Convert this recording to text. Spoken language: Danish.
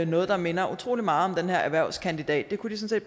noget der minder utrolig meget om den her erhvervskandidatuddannelse det